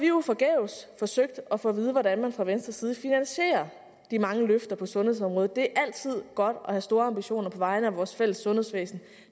jo forgæves forsøgt at få at vide hvordan man fra venstre side vil finansiere de mange løfter på sundhedsområdet det er altid godt at have store ambitioner på vegne af vores fælles sundhedsvæsen